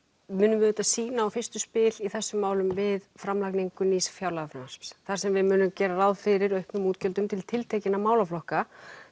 munum við sýna á fyrstu spil í þessum málum við framlagninu nýs fjárlagafrumvarps þar sem við munum gera ráð fyrir auknum útgjöldum til tiltekinna málaflokka